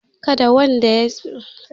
Kada kowannen ku ya shiga jirgin saman can!